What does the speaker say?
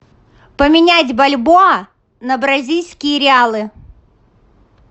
поменять бальбоа на бразильские реалы